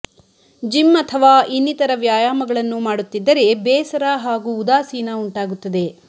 gym ಅಥವಾ ಇನ್ನಿತರ ವ್ಯಾಯಾಮಗಳನ್ನು ಮಾಡುತ್ತಿದ್ದರೆ ಬೇಸರ ಹಾಗೂ ಉದಾಸೀನ ಉಂಟಾಗುತ್ತದೆ